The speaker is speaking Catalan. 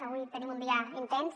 avui tenim un dia intens